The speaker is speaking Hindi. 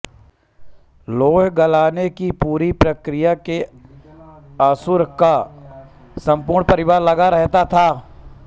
लौह गलाने की पूरी प्रक्रिया में असुर का सम्पूर्ण परिवार लगा रहता था